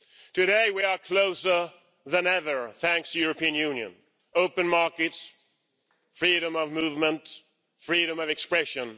Today, we are closer than ever thanks to the European Union open markets, freedom of movement, freedom of expression.